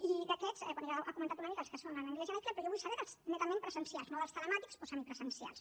i d’aquests bé ja ha comentat una mica els que són en anglès i en aicle però jo vull saber dels netament presencials no dels telemàtics o semipresencials